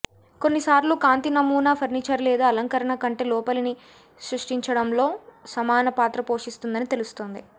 కొన్నిసార్లు కాంతి నమూనా ఫర్నీచర్ లేదా అలంకరణ కంటే లోపలిని సృష్టించడంలో సమాన పాత్ర పోషిస్తుందని తెలుస్తుంది